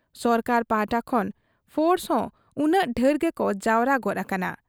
ᱥᱚᱨᱠᱟᱨ ᱯᱟᱦᱴᱟ ᱠᱷᱚᱱ ᱯᱷᱳᱨᱥᱦᱚᱸ ᱩᱱᱟᱹᱝ ᱰᱷᱮᱨ ᱜᱮᱠᱚ ᱡᱟᱣᱨᱟ ᱜᱚᱫ ᱟᱠᱟᱱᱟ ᱾